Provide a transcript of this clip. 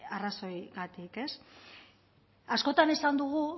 arrazoigatik